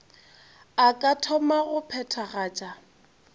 a ka thoma go phethagatša